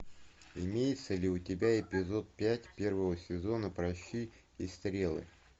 имеется ли у тебя эпизод пять первого сезона пращи и стрелы